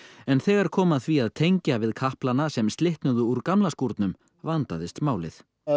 en þegar kom að því að tengja hann við sem slitnuðu úr gamla skúrnum vandaðist málið